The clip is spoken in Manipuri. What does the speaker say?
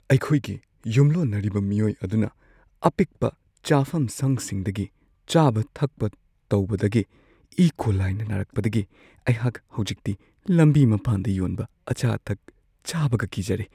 ꯑꯩꯈꯣꯏꯒꯤ ꯌꯨꯝꯂꯣꯟꯅꯔꯤꯕ ꯃꯤꯑꯣꯏ ꯑꯗꯨꯅ ꯑꯄꯤꯛꯄ ꯆꯥꯐꯝꯁꯪꯁꯤꯡꯗꯒꯤ ꯆꯥꯕ-ꯊꯛꯄ ꯇꯧꯕꯗꯒꯤ ꯏꯀꯣꯂꯥꯏꯅ ꯅꯥꯔꯛꯄꯗꯒꯤ ꯑꯩꯍꯥꯛ ꯍꯧꯖꯤꯛꯇꯤ ꯂꯝꯕꯤ ꯃꯄꯥꯟꯗ ꯌꯣꯟꯕ ꯑꯆꯥ-ꯑꯊꯛ ꯆꯥꯕꯒ ꯀꯤꯖꯔꯦ ꯫